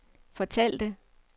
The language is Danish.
fortalte